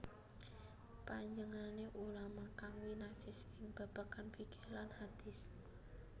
Panjenengané ulama kang winasis ing babagan fiqih dan hadis